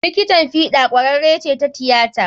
Likitan fiɗa ƙwararre ce ta tiyata.